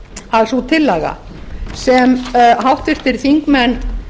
að sú tillaga sem háttvirtir þingmenn